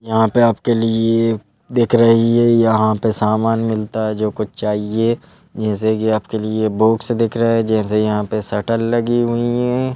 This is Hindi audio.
यहाँ पे आपके लिए ये दिख रही है यहाँ पे सामान मिलता है जो कुछ चाहिए जैसे कि आपके लिए बॉक्स दिख रहा है जैसे यहाँ पे शटल लगी हुई हैं।